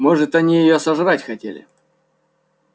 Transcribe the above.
может они её сожрать хотели